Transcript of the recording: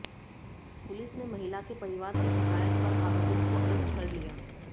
police ने महिला के परिवार की शिकायत पर आरोपित को अरेस्ट कर लिया